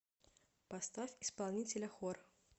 поставь исполнителя хор